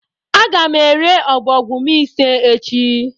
Aga m ere ọbọgwụ m ise echi